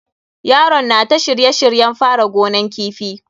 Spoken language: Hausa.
Yaron na ta shirye shiryen fara gonan kifi.